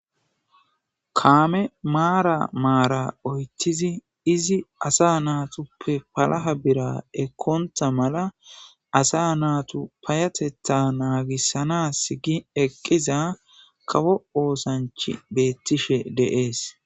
kaame maara maara oytizi izi asa naatuppe palaha bira ekkonta mala asa naatu payatetta naagissanas gi eqqiza kawo oosanch beettishe deees